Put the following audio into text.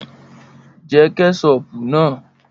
Jẹ́ Kẹ́ṣọpù náà!